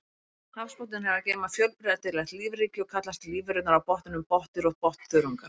Hafsbotninn hefur að geyma fjölbreytilegt lífríki og kallast lífverurnar á botninum botndýr og botnþörungar.